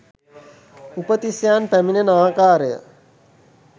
උපතිස්සයන් පැමිණෙන ආකාරය